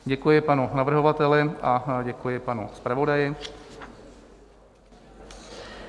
Děkuji panu navrhovateli a děkuji panu zpravodaji.